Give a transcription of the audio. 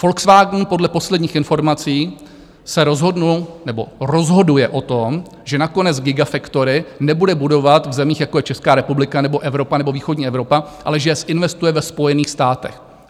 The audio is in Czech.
Volkswagen podle posledních informací se rozhodl nebo rozhoduje o tom, že nakonec gigafactory nebude budovat v zemích, jako je Česká republika nebo Evropa nebo východní Evropa, ale že je zinvestuje ve Spojených státech.